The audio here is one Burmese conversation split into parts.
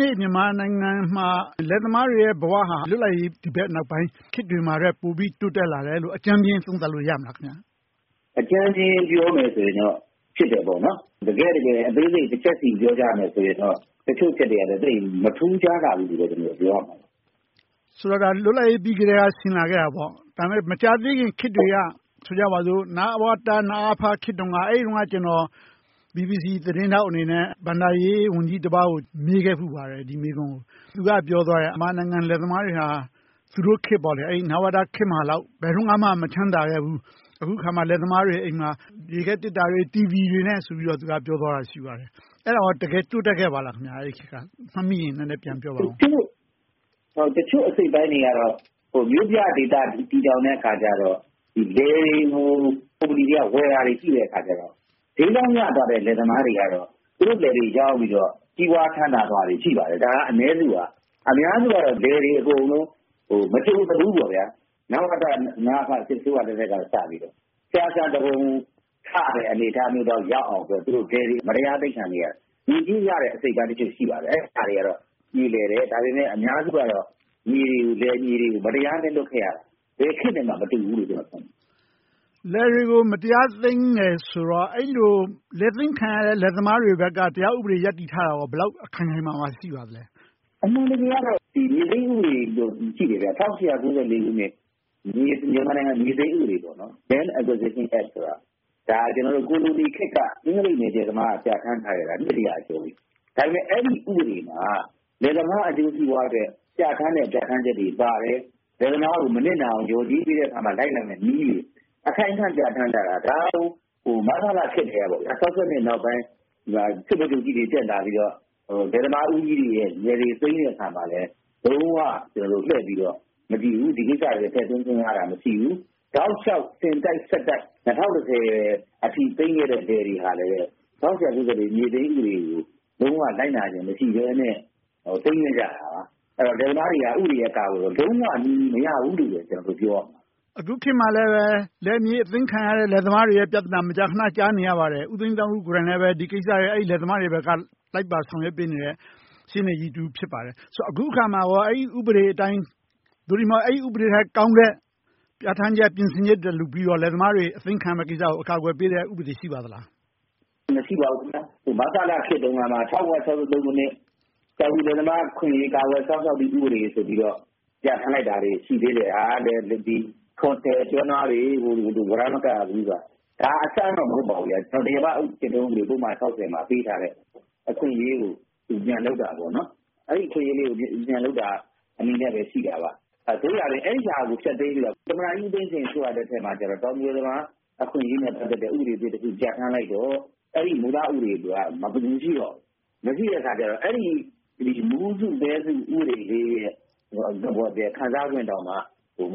နေ့ မြန်မာနိုင်ငံမှာ လယ်သမားတွေရဲ့ဘဝဟာ လွတ်လပ်ရေးရပြီးနောက်ပိုင်း ခေတ်တွေမှာထက် တိုးတက်လာတယ်လို့ အကြမ်းမျဉ်း သုံးသပ်လို့ရမလား။ အကြမ်းဖျဉ်းပြောမယ်ဆိုရင်တော့ ဖြစ်တယ်ပေါ့။ တကယ့်တကယ် အသေးစိတ် တချက်စီ ပြောကြရမယ်ဆိုရင်တော့ တချို့အချက်တွေက သိပ်မထူးခြားလာဘူးလို့ ပြောရလိမ့်မယ်။ ဆိုတော့ လွတ်လပ်ရေး ရပြီးကတည်းက ဖြစ်လာခဲ့တာပေါ့။ ဒါပေမဲ့ မကြာသေးခင်ခေတ်တွေက ဆိုကြပါစို့ နဝတ၊ နအဖခေတ်တုန်းက အဲဒီတုန်းက ကျနော် BBC သတင်းထောက်အနေနဲ့ ဘဏ္ဍာရေးဝန်ကြီးတပါးကို ဒီမေးခွန်းကို မေးခဲ့ဖူးပါတယ်။ သူကပြောသွားတယ် မြန်မာနိုင်ငံလယ်သမားတွေဟာ သူတို့ခေတ်၊ နဝတခေတ်မှာလောက် ဘယ်တုန်းကမှ မချမ်းသာခဲ့ဖူးဘူး။ အခုအခါမှာ လယ်သမားတွေဆီမှာ ရေခဲသေတ္တာတွေ၊ တီဗီတွေနဲ့ဆိုပြီး သူက ပြောသွားခဲ့တယ်။ အဲဒါ အဲဒီခေတ်မှာ တကယ်တိုးတက်ခဲ့ပါလား။ မှတ်မိရင် နည်းနည်းပြန်ပြောပေးပါ။ တချို့အစိတ်အပိုင်းတွေကတော့ မြို့ပြဒေသ တည်ထောင်တဲ့အခါကြတော့ လယ်တွေကို ကုမ္ပဏီတွေက ဝယ်ခဲ့တာရှိတယ်။ ဈေးကောင်းရသွားတဲ့ လယ်သမားတွေကြတော့ သူတို့လယ်တွေရောင်းပြီးတော့ ကြီးပွားချမ်းသာသွားကြတာ ရှိပါတယ်။ ဒါက အနည်းစုပါ။ အများစုကတော့ လယ်တွေ အကုန်လုံး မကြုံစဖူး နဝတ၊ နအဖ စစ်အစိုးရလက်ထက်ကစပြီး ဆရာစံသူပုန်ထရတော့မယ့် အနေအထားမျိုးရောက်အောင် လယ်တွေမတရား အသိမ်းခံနေရတယ်။ ငွေကြေးရတဲ့ အစိတ်အပိုင်းတခုတော့ ရှိပါတယ်။ အဲဒါတွေကတော့ ပြေလည်တယ်။ ဒါပေမဲ့ အများစုကတော့ လယ်တွေက မတရားလက်လွှတ်ခဲ့ရတယ်။ ဘယ်ခေတ်နဲ့မှ မတူဘူးလို့ ပြောလို့ရတယ်။ လယ်တွေကို မတရားသိမ်းတယ်ဆိုတော့ အဲဒီလို လယ်သိမ်းခံရတဲ့ လယ်သမားတွေဘက်က တရားဥပဒေ ရပ်တည်ထားတာ ဘယ်လောက်ခိုင်ခိုင်မာမာ ရှိပါသလဲ။ အမှန်တကယ်ကတော့ မြေသိမ်းဥပဒေရှိတယ် - ၁၈၉၄ ခုနှစ် မြန်မာနိုင်ငံ မြေသိမ်းဥပဒေ Land Acquistion Act ဆိုတာ ကိုလိုနီခေတ်က အင်္ဂလိပ်နယ်ချဲသမားက ပြဌာန်းထားခဲ့တာ နှစ်တရာကျော်ခဲ့ပြီ။ ဒါပေမဲ့ အဲဒီဥပဒေမှာ လယ်သမားအကျိုးစီးပွားအတွက် ပြဌာန်းတဲ့ ပြဌာန်းချက်တွေပါတယ်။ လယ်သမားကို မနစ်နာအောင် လျော်ကြေးပေးတဲ့အခါ လိုက်နာရမယ် နည်းဥပဒေတွေ အခိုင်အမာ ပြဌာန်းထားတာ ဒါကို မဆလခေတ်ကတည်းက ၁၉၆၂ နောက်ပိုင်း စစ်ဗိုလ်ချုပ်ကြီးတွေ တက်လာပြီးတော့ လယ်သမားဦးကြီးတွေရဲ့ လယ်တွေကို သိမ်းတဲ့အခါမှာလည်း လုံးဝလှည့်ပြီးတော့ မကြည့်ဘူး။ ဒီကိစ္စတွေကို ထည့်သွင်းစဉ်းစားတာ မရှိဘူး။ တောက်လျှောက်အစဉ်တစိုက် သိမ်းခဲ့တဲ့ လယ်တွေကလည်း ၁၈၉၄ မြေသိမ်းဥပဒေကို လိုက်နာခြင်းမရှိဘဲနဲ့ သိမ်းခဲ့ကြတာပါ။ လယ်သမားတွေက ဥပဒေရဲ့ ကာကွယ်မှုကို လုံးဝမရဘူးလို့ ပြောလို့ရတယ်။ အခုခေတ်မှာလည်း လယ်မြေအသိမ်းခံရတဲ့ လယ်သမားတွေရဲ့ ပြဿနာကို မကြာခဏ ကြားနေရပါတယ်။ ဦးသိန်းသန်းဦးကိုယ်တိုင်လည်း လယ်သမားတွေရဲ့ အရေးကိစ္စကို လိုက်ပါဆောင်ရွက်ပေးနေတဲ့ ရှေ့နေကြီးတဦး ဖြစ်ပါတယ်။ ဆိုတော့ အခုအခါမှာကော အဲဒီဥပဒေအတိုင်း သို့တည်းမဟုတ် အဲဒီဥပဒေထက်ကောင်းတဲ့ ပြဌာန်းချက်၊ ပြင်ဆင်ချက်တွေ လုပ်ပြီးတော့ လယ်သမားတွေ အသိမ်းခံရမယ့် ကိစ္စကို အကာအကွယ်ပေးတဲ့ ဥပဒေတွေ ရှိပါသလား။ မရှိပါဘူး။ မဆလခေတ်တုန်းကမှ ၁၉၆၃ ခုနှစ် တောင်သူလယ်သမား အခွင့်အရေး ကာကွယ်စောင့်ရှောက်ရေး ဥပဒေဆိုပြီးတော့ ပြဌာန်းလိုက်တာရှိတယ်။ ကျွဲနွားတွေကို ဝရမ်းမကပ်ရဘူးဆိုတာ။ ဒါက အဆန်းတော့ မဟုတ်ပါဘူး။ တရားမကျင့်သုံးဥပဒေ မှာ ပေးထားတဲ့ အခွင့်အရေးကို ပြန်လုပ်တာ။ အဲဒီအခွင့်အရေးလေးကို ပြန်လုပ်တာပဲ ရှိတာပါ။ သို့ရာတွင် အဲဒီဟာကို ဖျက်သိမ်းပြီးတော့ သမ္မတကြီးဦးသိန်းစိန်အစိုးရလက်ထက်မှာ တောင်သူလယ်သမား အခွင့်အရေးနဲ့ ပတ်သက်တဲ့ ဥပဒေတခု ပြဌာန်းလိုက်တော့ အဲဒီမူလဥပဒေက မရှိတော့ဘူး။ မရှိတဲ့အခါကြတော့ မူးစုပဲစု ဥပဒေလေးရဲ့ ခံစားခွင့်တောင်မှ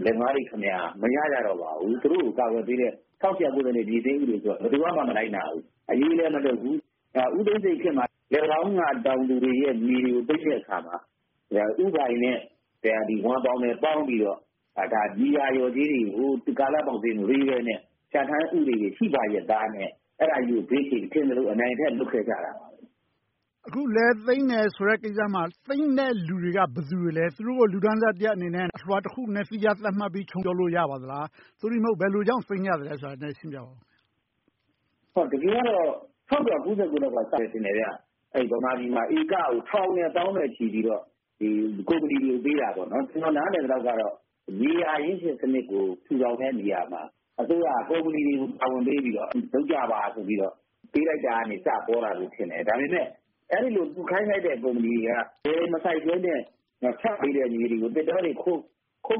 လယ်သမားတွေမှာ မရတော့ကြပါဘူး။ သူတို့ကို ကာကွယ်ပေးတဲ့ ၁၈၉၄ ခုနှစ် မြေသိမ်းဥပဒေကို ဘယ်သူကမှ မလိုက်နာဘူး။ အရေးလည်းမလုပ်ဘူး။ ဦးသိန်းစိန်ခေတ်မှာ လယ်ပံတောင်းက တောင်သူတွေရဲ့မြေကို သိမ်းတဲ့အခါမှာ ဦးပိုင်နဲ့ ဝမ်ပေါင် ပေါင်းပြီးတော့ မြေယာတွေကို ကာလပေါက်ဈေးနဲ့ မပေးဘဲနဲ့ ပြဌာန်းဥပဒေတွေ ရှိရဲ့သားနဲ့ အဲဒါကြီးကို ဘေးချိတ်ပြီးတော့ ထင်သလို နိုင်ထက်စီးနင်းလုပ်ခဲ့ကြတယ်။ အခု လယ်သိမ်းတယ်ဆိုတဲ့ကိစ္စမှာ သိမ်းတဲ့လူတွေက ဘယ်သူတွေလဲ။ သူတို့ကို လူတန်းစားတရပ် အလွှာတရပ်အနေနဲ့ သီးခြားသတ်မှတ်ပြီး သို့တည်းမဟုတ် ဘယ်လိုကြောင့် သိမ်းကြသလဲဆိုတာကို နည်းနည်းရှင်းပြပါအုံး။ တကယ်ကတော့ ၁၉၉၉ လောက်က စတယ်ထင်တယ်။ ဧကကို ထောင်နဲ့သောင်းနဲ့ချီပြီးတော့ ကုမ္ပဏီတွေကို ပေးတာ။ ကျနော် နားလည်သလောက်တော့ မြေယာအရင်းရှင်စနစ်ကို ထူထောင်တဲ့နေရာမှာ အစိုးရက ကုမ္ပဏီတွေကို တာဝန်ပေးပြီးတော့ လုပ်ကြပါဆိုပြီးတော့ ပေးလိုက်တာကစပြီးတော့ ပေါ်လာတာ ဖြစ်မယ်။ ဒါပေမဲ့ သူခိုင်းလိုက်တဲ့ ကုမ္ပဏီတွေက လယ်မစိုက်ဘဲနဲ့ ချပေးလိုက်တဲ့ လယ်တွေကို သစ်တောတွေ ခုတ်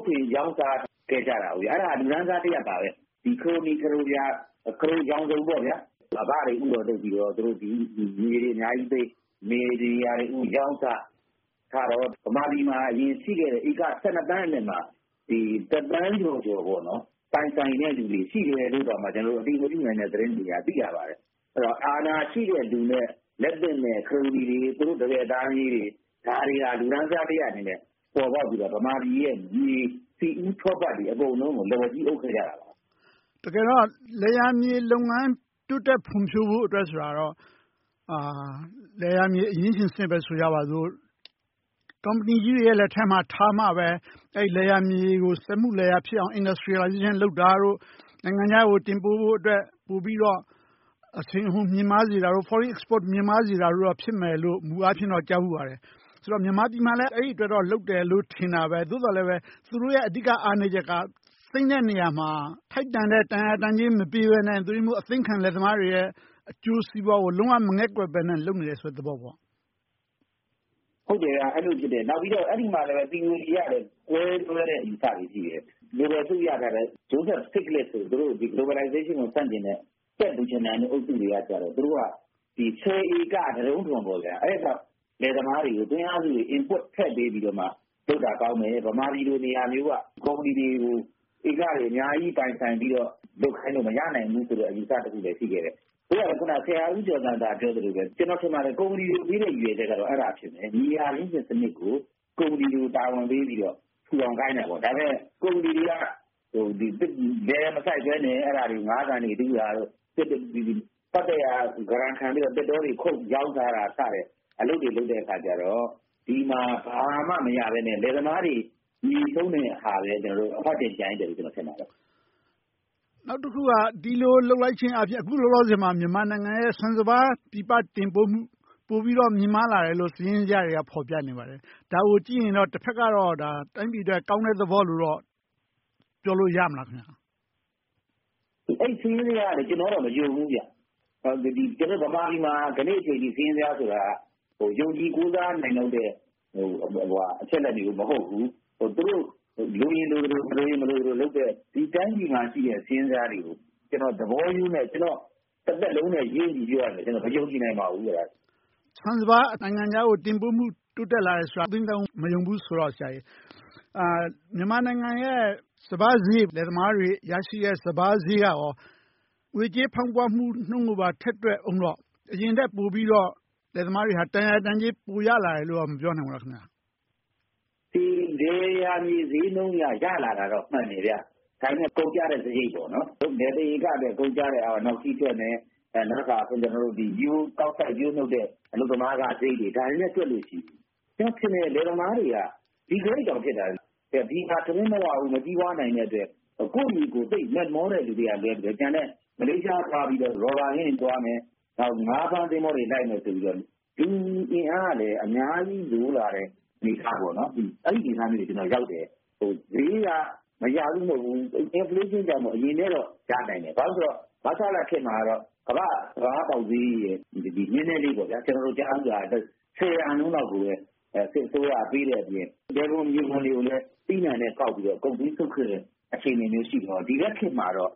ထွင်ရောင်းစားခဲ့ကြတာ။ အဲဒါ လူတန်းစားတရပ်ပါပဲ။ ခရိုနီ၊ ခရိုပြာ ခရိုရောင်စုံ အဘတွေကို ဦးတော်လုပ်ပြီးတော့ မြေယာအများကြီးသိမ်း၊ လယ်ယာတွေကိုရောင်းစား၊ ဗမာပြည်မှာ အရင်တုန်းကရှိခဲ့တဲ့ ဧက သန်းထဲက တသန်းကျော်ကျော် ပိုင်ဆိုင်တဲ့လူတွေ ရှိတယ်လို့တောင်မှ အတည်မပြုနိုင်တဲ့ သတင်းတွေအရ သိရပါတယ်။ အဲဒီတော့ အာဏာရှိတဲ့လူနဲ့ လက်သင့်တဲ့ ခရိုနီတွေ သူတို့တပည့်သားသမီးတွေ ဒါတွေက လူတန်းစားတရပ်အနေနဲ့ ပေါ်ပေါက်လာပြီး ဗမာပြည်ရဲ့မြေ၊ ဆီဦးထောပတ်တွေ အကုန်လုံးကို လက်ဝါးကြီးအုပ်ခဲ့ကြတာပါ။ တကယ်တော့ လယ်ယာမြေလုပ်ငန်း တိုးတက်ဖွံ့ဖြိုးဖို့အတွက်ဆိုတာ လယ်ယာမြေ အရင်းရှင်စနစ်ပဲ ဆိုကြပါစို့၊ ကုမ္ပဏီကြီးတွေရဲ့ လက်ထဲမှာ ထားမှပဲ အဲဒီလယ်ယာမြေကို စက်မှုလယ်ယာမြေဖြစ်အောင် Industrial လုပ်တာတို့၊ နိုင်ငံခြားကို တင်ပို့ဖို့အတွက် ပိုပြီးတော့ အရှိန်အဟုန် မြင့်မားစေတာတို့ Foreign Export မြင့်မားစေတာတို့ ဖြစ်မယ်လို့ မူအားဖြင့်တော့ ကြားဖူးပါတယ်။ ဆိုတော့ မြန်မာပြည်မှာလည်း အဲဒီအတွက် လုပ်တယ်လို့ ထင်တာပဲ။ သို့သော်လဲ သူတို့ရဲ့ အဓိကအားနည်းချက်က သိမ်းတဲ့နေရာမှာ ထိုက်တန်တဲ့ တန်ရာတန်ကြေး မပေးဘဲနဲ့ အသိမ်းခံ လယ်သမားတွေရဲ့ အကျိုးစီးပွားကို လုံးဝမငဲ့ကွက်ဘဲနဲ့ လုပ်နေတဲ့သဘောပေါ့။ အဲဒီလိုဖြစ်တယ်။ နောက်ပြီးတော့ အဲဒီမှာ သီအိုရီတွေကလည်း ကွဲလွဲတဲ့ အယူအဆတွေ ရှိတယ်။ နိုဘယ်ဆုရထားတဲ့ ဂျိုးဆက်စတစ်ဒ်နဲ့ဆို သူတို့ Globalization ကို ဆန့်ကျင်တဲ့ အုပ်စုတွေကတော့ သူတို့က ဆယ်ဧက လယ်သမားတွေကို သွင်းအားစု Input ထည့်ပေးပြီးတော့ လုပ်တာကောင်းမယ်။ ဗမာပြည်လို နေရာမျိုးက ကုမ္ပဏီတွေကို ဧကတွေ အများကြီး ပိုင်ဆိုင်ပြီးတော့ လုပ်ခိုင်းလို့ မရနိုင်ဘူးဆိုတဲ့ အယူအဆတခုလည်း ရှိခဲ့တယ်။ အခုန ဆရာဦးကျော်ဇံသာ ပြောသလိုပဲ ကျနော်ထင်တယ် ကုမ္ပဏီတွေကိုပေးတဲ့ ရည်ရွယ်ချက်က အဲဒါဖြစ်မယ် မြေယာအရင်းရှင်စနစ်ကို ကုမ္ပဏီတွေကို တာဝန်ပေးပြီးတော့ ထူထောင်ခိုင်းတာ။ ဒါပေမဲ့ ကုမ္ပဏီတွေက လယ်မစိုက်ဘဲနဲ့ အဲဒီမြေတွေမှာ ငါးကန်တွေ တူးတာတို့၊ ပတ်သက်ရာ ဂရမ်ခံပြီးတော့ သစ်တောတွေခုတ် ရောင်းစားတာစတဲ့ အလုပ်တွေလုပ်ကြတော့ ဒီမှာ ဘာမှမရဘဲနဲ့ လယ်သမားတွေ မြေဆုံးတဲ့ဟာပဲ အဖတ်တင်ကျန်ခဲ့တယ်လို့ ထင်ပါတယ်။ နောက်တခုက ဒီလိုလုပ်လိုက်ခြင်းအားဖြင့် အခုလောလောဆယ်မှာ မြန်မာနိုင်ငံရဲ့ ဆန်စပါးပြည်ပတင်ပို့မှု ပိုပြီးတော့ မြင့်မားလာတယ်လို့ စာရင်းဇယားတွေက ဖော်ပြနေပါတယ်။ ဒါကိုကြည့်ရင်တော့ တဘက်ကတော့ တိုင်းပြည်အတွက် ကောင်းတဲ့သဘောလို့တော့ ပြောလို့ရမလား။ အဲဒီ စာရင်းဇယားကိုတော့ ကျနော်က မယုံဘူး။ ဘာဖြစ်လို့လဲဆိုတော့ ဗမာပြည်မှာ ဒီနေ့အချိန်အခါအထိ စာရင်းဇယားဆိုတာ ယုံကြည်ကိုးစားနိုင်လောက်တဲ့ အချက်အလက်တွေ မဟုတ်ဘူး။ သူတို့ လိုရင်လိုသလို၊ မလိုရင်မလိုသလို လုပ်နေတယ်။ ဒီတိုင်းပြည်မှာ ရှိနေတဲ့ စာရင်းဇယားတွေကို ကျနော် သဘောရိုးနဲ့ ကျနော့်တသက်လုံးနဲ့ရင်းပြီး ပြောရရင် မယုံကြည်နိုင်ပါဘူး။ ဆန်စပါး နိုင်ငံခြားကို တင်ပို့မှု ပိုတိုးတက်လာတယ်ဆိုတာကို ဦးသိန်းသန်းဦး မယုံဘူးဆိုတော့ မြန်မာနိုင်ငံရဲ့ စပါးဈေး၊ လယ်သမားတွေရရှိတဲ့ စပါးဈေးက ငွေကြေးဖောင်းပွမှုနှုန်းကိုပါ ထည့်တွက်အုံးတော့ အရင်ထက်ပိုပြီးတော့ လယ်သမားတွေက တန်ရာတန်ကြေး ပိုရလာတယ်လို့ မပြောနိုင်ဘူးလား။ လယ်ယာမြေဈေးနှုန်းအရ ရလာတာတော့ မှန်တယ်။ ဒါပေမဲ့ ကုန်ကျစရိတ် လယ်တဧကအတွက် ကုန်ကျစရိတ်နဲ့ ရိုးရိုးကောက်စိုက်၊ ပျိုးနုတ် အလုပ်သမားစရိတ်တွေနဲ့ တွက်မယ်ဆိုရင် ကျနော်ထင်တယ် လယ်သမားတွေက Degrade တောင်ဖြစ်တာ ထမင်းမဝနိုင်ဘူး၊ မကြီးပွားနိုင်တဲ့အတွက် ကိုယ့်မြေကို သိပ်မက်မောတဲ့ လူတွေကလွဲပြီး ကျန်တဲ့လူတွေက မလေးရှားသွားပြီးတော့ ရော်ဘာခြံသွားမယ်။ နောက် ငါးဖမ်းသင်္ဘောတွေ လိုက်မယ်ဆိုပြီးတော့ လူအင်အားကလည်း အများကြီး လိုလာတဲ့ အဲဒီလိုအနေအထားမျိုးတွေ ဖြစ်လာတယ်။ ဈေးက မရဘူးမဟုတ်ဘူး Inflation ကြောင့် အရင်ကထက် ရနိုင်တယ်။ ဘာဖြစ်လို့လဲဆိုတော့ မဆလခေတ်မှာတော့ ကမ္ဘာ့စပါးပေါက်ဈေးထက် နည်းနည်လေး ကျနော်တို့ကြားဖူးတာ ဆယ်ရာခိုင်နှုန်းလောက်ကိုပဲ စစ်အစိုးရက ပေးတဲ့အပြင် လယ်ခွန်မြေခွန်တွေကိုလည်း သီးနံှနဲ့ကောက်ပြီးတော့ ဂုပ်သွေးစုပ်ခဲ့တဲ့ အခြေအနေမျိုးရှိတော့ ဒီဘက်ခေတ်မှာတော့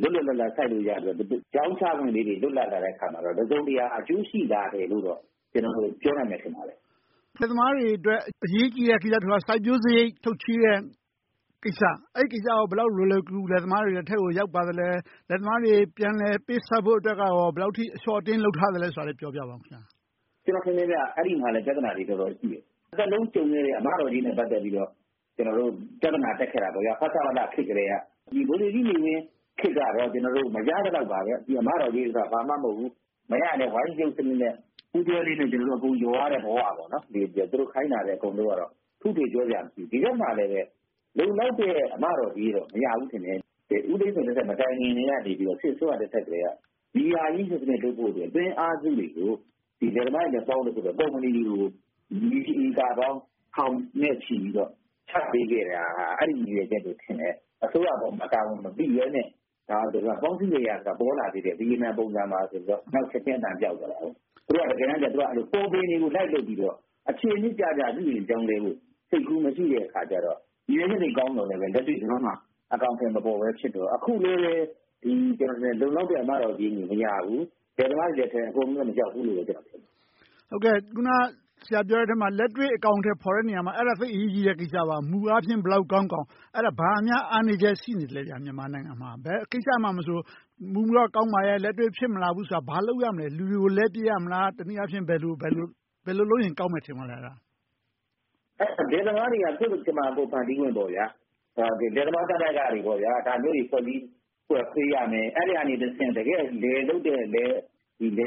လွတ်လွတ်လပ်လပ် စိုက်လို့ရလို့၊ ရောင်းချခွင့်လေးတွေ ရလာလို့ တစုံတရာ အကျိုးရှိလာတယ်လို့တော့ ပြောနိုင်တယ်ထင်ပါတယ်။ လယ်သမားတွေအတွက် အရေးကြီးတဲ့ကိစ္စတခုက စိုက်ပျိုးစရိတ် ထုတ်ချေးတဲ့ကိစ္စ။ အဲဒီကိစ္စကော ဘယ်လောက်လွယ်လွယ်ကူကူ လယ်သမားတွေလက်ထဲ ရောက်ပါသလဲ။ လယ်သမားတွေကို ပြန်လည်ပေးဆပ်ဖို့အတွက် ဘယ်လောက်အထိ အလျှော့အတင်း လုပ်ထားသလဲဆိုတာကို ပြောပြပါ။ အဲဒီမှာလဲ ပြဿနာတွေ တော်တော်ရှိတယ်။ တသက်လုံး ကြုံခဲ့ရတဲ့ အမတော်ကြေးနဲ့ ပတ်သက်ပြီးတော့ ကျနော်တို့ ပြဿနာတက်ခဲ့တာ ဖဆပလခေတ်ကတည်းက ဗိုလ်ချုပ်ကြီးနေဝင်းခေတ်ကတော့ မရသလောက်ပါပဲ။ အမတော်ကြေးဆိုတာ ဘာမှမဟုတ်ဘူး မရလဲ ဝိုင်းချုပ်စနစ်နဲ့ ပူးတွဲလေး အကုန်လျော်ရတဲ့ဘဝ - သူတို့ခိုင်းတာ အကုန်လုပ်ရတော့။ ဒီဘက်မှာလဲ လုံလောက်တဲ့ အမတော်ကြေးတော့ မရဘူးထင်တယ်။ ဦးသိန်းစိန်လက်ထက် မတိုင်မီ စစ်အစိုးရလက်ထက်ကတည်းက မြေယာအရင်းရှင်စနစ် ထုတ်ဖို့အတွက် သွင်းအားစုတွေကို လယ်သမားတွေနဲ့ပေါင်းတဲ့ ကုမ္ပဏီတွေကို မြေဧကထောင်နဲ့ချီပြီးတော့ ချပေးခဲ့တာဟာ အဲဒီရည်ရွယ်ချက်လို့ထင်တယ်။ အစိုးရအပေါ် တာဝန်မပိဘဲနဲ့ ပေါင်းစည်းမြေယာဆိုတာ ပေါ်လာသေးတယ်။ ဗိယက်နမ်ပုံစံဆိုပြီးတော့ နောက်ချက်ချင်း အသံပျောက်သွားခဲ့တယ်။ သူတို့က တကယ်တမ်းကြတော့ ပေါ်ပင်တွေကို လိုက်လုပ်ပြီးတော့ အခြေအမြစ်ကျကျ ဥပဒေ ပြောင်းလဲဖို့ စိတ်ကူးမရှိတဲ့အခါကြတော့ ရည်ရွယ်ချက်ကောင်းပေမယ့် လက်တွေ့ ဒီဘက်မှာ အကောင်အထည်မဖော်ဖြစ်တော့ အခုလဲပဲ လုံလောက်တဲ့ အမတော်ကြေး မရဘူး။ လယ်သမားတွေလက်ထဲ အကုန်လုံး မရောက်ဘူးလို့ ကျနော်ထင်တယ်။ အခုန ဆရာပြောတဲ့အထဲမှာ လက်တွေ့အကောင်အထည်ဖော်တဲ့ နေရာမှာ အဲဒါသိပ်အရေးကြီးတဲ့ကိစ္စပါ။ မူအားဖြင့် ဘယ်လောက်ကောင်းကောင်း - အဲဒါ ဘာများ အားနည်းချက် ရှိနေသလဲ - မြန်မာနိုင်ငံမှာ။ ဘယ်ကိစ္စမှာမဆို မူတော့ ကောင်းပါရဲ့ လက်တွေ့ဖြစ်မလာဘူးဆိုတာ ဘာလုပ်ရမလဲ။ လူတွေကို လဲပြစ်ရမလား။ တနည်းအားဖြင့် ဘယ်လိုလုပ်ရင် ကောင်းမယ် ထင်ပါသလဲ။ လယ်သမားတွေက ကိုယ့်ကြမ္မာ ကိုယ်ဖန်တီးခွင့် - လယ်သမားသမဂ္ဂတွေ ဒါမျိုးတွေ ဖွဲ့ပေးရမယ်။ အဲဒီကတဆင့် တကယ့်လယ်လုပ်တဲ့ လယ်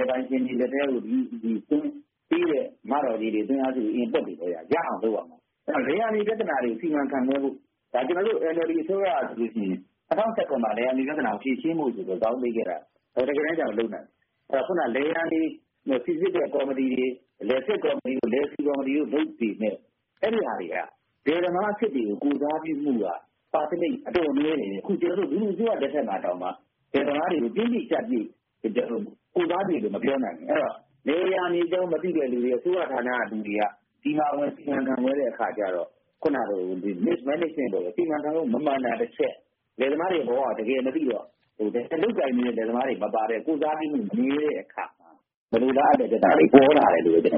ပိုင်ရှင်တွေ လက်ထဲကိုပေးတဲ့ အမတော်ကြေးတွေ၊ သွင်းအားစုတွေကို Inputs တွေကို ရအောင်လုပ်ရမယ်။ အဲဒီတော့ လယ်ယာမြေပြဿနာတွေကို စီမံခန့်ခွဲဖို့ ကျနော်တို့ NLD အစိုးရက ၂၀၁၇ မှာ လယ်ယာမြေပြဿနာကို ဖြေရှင်းဖို့ဆိုပြီး ဇောင်းပေးခဲ့တာ တကယ်တမ်းကြတော့ မလုပ်နိုင်သေးဘူး။ လယ်ယာမြေ စီစစ်တဲ့ကော်မတီတွေ၊ လယ်စစ်ကော်မတီတွေက… လယ်သမားအစစ်တွေကို ကိုယ်စားပြုမှုက Percentage အတော်နည်းတယ်။ အခု ဒီအစိုးရလက်ထက်မှာတောင်မှ လယ်သမားတွေကို တင်းပြည့်ကျပ်ပြည့် ကိုယ်စားပြုတယ်လို့ မပြောနိုင်ဘူး။ အဲဒီတော့ လယ်ယာမြေအကြောင်း မသိတဲ့လူတွေ၊ အစိုးရဌာနက လူတွေက ဒီဟာကို စီမံခန့်ခွဲတဲ့အခါကြတော့ အခုနလို Mismanagement စီမံခန့်ခွဲမှု မမှန်တာတချက်၊ လယ်သမားတွေရဲ့ ဘဝကို တကယ်မသိတော့ လယ်လုပ်ကိုင်နေတဲ့ လယ်သမားတွေမပါတဲ့ ကိုယ်စားပြုမှု နည်းတဲ့အခါ မလိုလားအပ်တဲ့ ပြဿနာတွေ ပေါ်လာတယ်လို့ ကျနော်